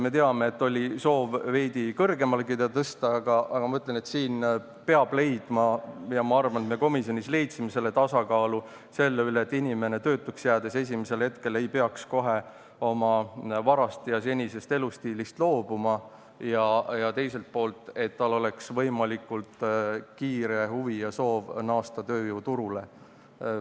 Me teame, et oli soov seda veidi kõrgemalegi ta tõsta, aga siin peab leidma – ja ma arvan, et me komisjonis leidsime – sellise tasakaalu, et inimene ei peaks töötuks jäädes esimesel hetkel kohe oma varast ja senisest elustiilist loobuma ning et tal oleks võimalikult kiire huvi ja soov naasta tööjõuturule.